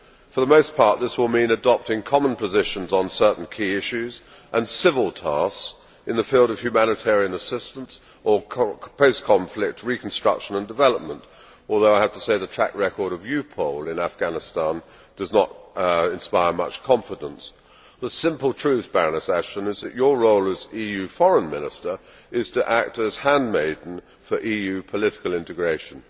For the most part, this will mean adopting common positions on certain key issues and civil tasks in the field of humanitarian assistance or post conflict reconstruction and development, although I have to say that the track record of EUPOL in Afghanistan does not inspire much confidence. The simple truth is that your role as EU foreign minister is to act as handmaiden for EU political integration.